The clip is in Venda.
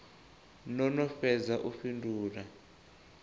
no no fhedza u fhindula